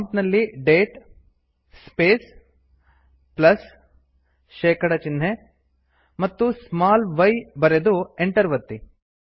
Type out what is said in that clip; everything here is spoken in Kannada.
ಪ್ರಾಂಪ್ಟ್ ನಲ್ಲಿ ಡೇಟ್ ಸ್ಪೇಸ್ ಪ್ಲಸ್160 ಶೇಕಡ ಚಿಹ್ನೆ ಮತ್ತು ಸ್ಮಾಲ್ y ಬರೆದು ಎಂಟರ್ ಒತ್ತಿ